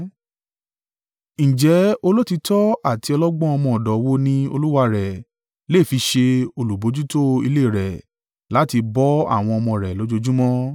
“Ǹjẹ́ olóòtítọ́ àti ọlọ́gbọ́n ọmọ ọ̀dọ̀ wo ni olúwa rẹ̀ lè fi ṣe olùbojútó ilé rẹ̀ láti bọ́ àwọn ọmọ rẹ̀ lójoojúmọ́?